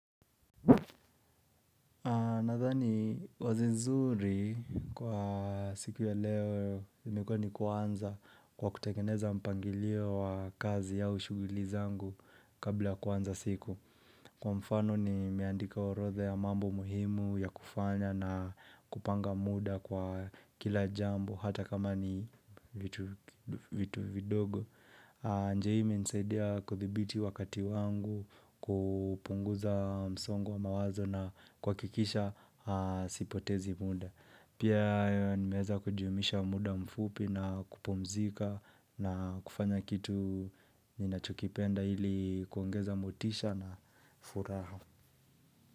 Nathani wazo nzuri kwa siku ya leo imekuwa ni kuanza kwa kutekengeneza mpangilio wa kazi au ushughuli zangu kabla kuanza siku Kwa mfano nimeandika orotha ya mambo muhimu ya kufanya na kupanga muda kwa kila jambo hata kama ni vitu vidogo njia hii imenisaidia kuthibiti wakati wangu kupunguza msongo wa mawazo na kuhakikisha sipotezi mda Pia nimeweza kujumuisha muda mfupi na kupumzika na kufanya kitu ninachokipenda ili kuongeza motisha na furaha.